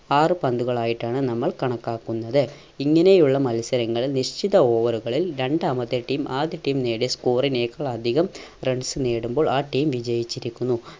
ആറു പന്തുകളായിട്ടാണ് നമ്മൾ കണക്കാക്കുന്നത്. ഇങ്ങനെയുള്ള മത്സരങ്ങൾ നിശ്ചിത over കളിൽ രണ്ടാമത്തെ team ആദ്യ team നേടിയ score നേക്കാൾ അധികം runs നേടുമ്പോൾ ആ team വിജയിച്ചിരിക്കുന്നു.